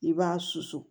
I b'a susu